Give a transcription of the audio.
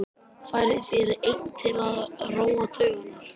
Færð þér einn til að róa taugarnar.